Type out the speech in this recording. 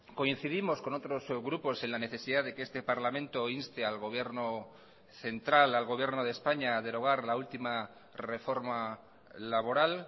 coincidimos con otros grupos en la necesidad de que este parlamento inste al gobierno central al gobierno de españa a derogar la última reforma laboral